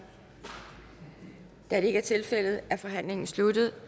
da det ikke er tilfældet er forhandlingen sluttet